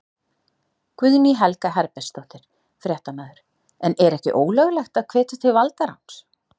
Guðný Helga Herbertsdóttir, fréttamaður: En er ekki ólöglegt að hvetja til valdaráns?